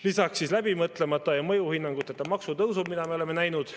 Lisaks läbimõtlemata ja mõjuhinnanguteta maksutõusud, mida me oleme näinud.